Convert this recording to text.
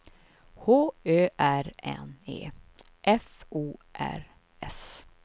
H Ö R N E F O R S